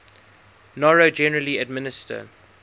noro generally administer